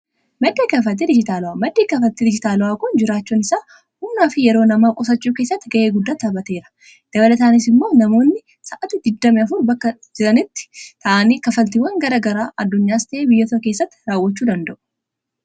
madda kafaltii dijitaala'aa maddi kafaltii dijitaala'aa kun jiraachuun isaa humnaa fi yeroo nama qusachuu keessatti ga'ee guddaa taaphateera dabalataanis immoo namoonni sa’aati digdamii afur bakka jiranitti ta’anii kafaltiiwwan gara garaa addunyaas ta'ee biyyata keessatti raawwachuu danda'u.